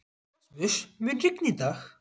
Rasmus, mun rigna í dag?